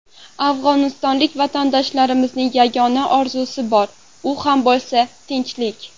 Afg‘onistonlik vatandoshlarimning yagona orzusi bor, u ham bo‘lsa tinchlik.